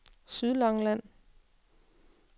Sydlangeland